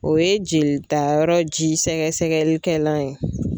O ye jelita yɔrɔ ji sɛgɛsɛgɛli kɛlan ye.